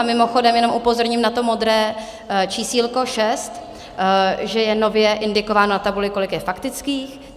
A mimochodem jenom upozorním na to modré čísílko 6, že je nově indikováno na tabuli, kolik je faktických.